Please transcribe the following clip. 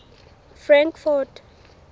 frankfort